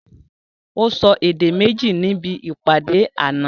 Ó sọ èdè méjì níbi ìpàdé àná